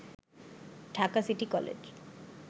Dhaka city college